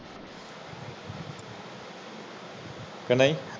ਕੇ ਨਹੀਂ